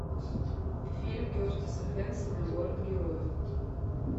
фильм кертиса хэнсона город героев